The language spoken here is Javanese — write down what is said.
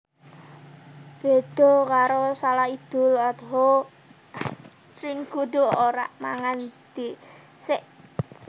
Béda karo shalat Idul Adha sing kudu ora mangan dhisik